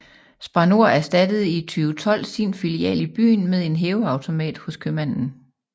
Spar Nord erstattede i 2012 sin filial i byen med en hæveautomat hos købmanden